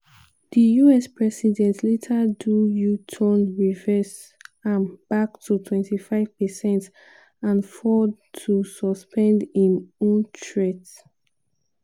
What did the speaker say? di us president later do u-turn reverse am back to 25 percent and ford too suspend im own threat.